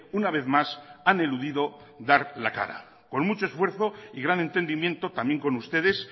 una vez más han eludido dar la cara con mucho esfuerzo y gran entendimiento también con ustedes